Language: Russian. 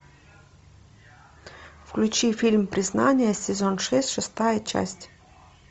включи фильм признание сезон шесть шестая часть